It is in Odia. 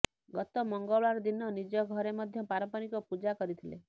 ଗତ ମଙ୍ଗଳବାର ଦିନ ନିଜ ଘରେ ମଧ୍ୟ ପାରମ୍ପରିକ ପୂଜା କରିଥିଲେ